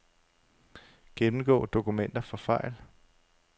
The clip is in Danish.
Gennemgå dokumenter for fejl.